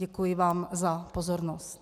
Děkuji vám za pozornost.